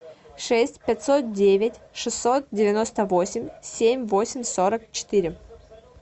шесть пятьсот девять шестьсот девяносто восемь семь восемь сорок четыре